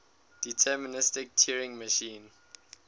deterministic turing machine